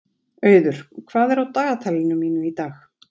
Auður, hvað er á dagatalinu mínu í dag?